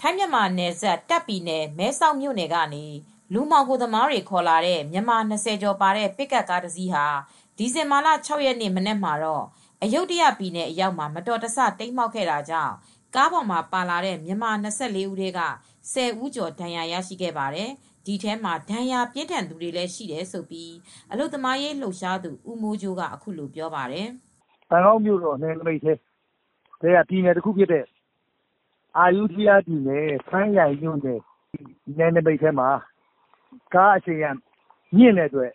ထိုင်းမြန်မာနယ်စပ် တာခ့် ပြည်နယ် မဲဆောက်မြို့နယ်ကနေ လူမှောင်ခိုသမားတွေ ခေါ်လာတဲ့ မြန်မာ၂၀ ကျော်ပါတဲ့ ပစ်ကပ်ကား တစီးဟာ ဒီဇင်ဘာလ ၆ ရက်နေ့ မနက်မှာတော့ အယုဒ္ဒယ ပြည်နယ်အရောက်မှာ မတော်တဆ တိမ်းမှောက်ခဲ့တာကြောင့် ကားပေါ်မှာ ပါလာတဲ့ မြန်မာ၂၄ ဦးထဲက ၁၀ ဦးကျော် ဒဏ်ရခဲ့ပါတယ်။ ဒီထဲမှာ ဒဏ်ရာပြင်းထန်သူတွေလည်း ရှိတယ်လို့ အလုပ်သမားရေး လှုပ်ရှားသူ ဦးမိုးကြိုးက အခုလိုပြောပါတယ်။ “ ဘန်ကောက်မြို့နယ် နယ်နိမိတ် ထဲက ပြည်နယ်တခုဖြစ်တဲ့ အယုဒ္ဒယမှာ ကားအရှိန်မြင့်တဲ့ အတွက်